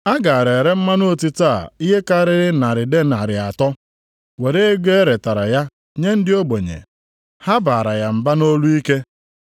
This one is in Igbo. A gaara ere mmanụ otite a ihe karịrị narị denarị atọ, were ego e retara ya nye ndị ogbenye.” Ha baara ya mba nʼolu ike.